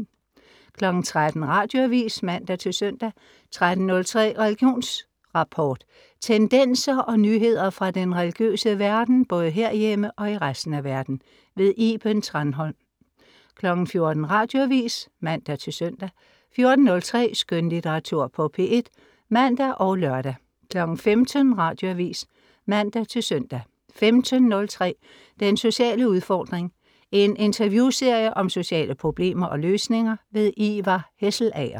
13.00 Radioavis (man-søn) 13.03 Religionsrapport. Tendenser og nyheder fra den religiøse verden, både herhjemme og i resten af verden. Iben Thranholm 14.00 Radioavis (man-søn) 14.03 Skønlitteratur på P1 (man og lør) 15.00 Radioavis (man-søn) 15.03 Den sociale udfordring. En interviewserie om sociale problemer og løsninger. Ivar Hesselager